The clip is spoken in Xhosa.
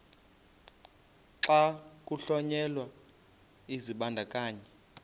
xa kuhlonyelwa isibandakanyi